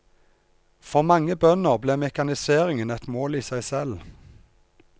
For mange bønder ble mekaniseringen et mål i seg selv.